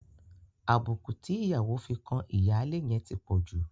Àbùkù tí ìyàwó fi kan ìyáálé yẹn ti pọ̀ jù.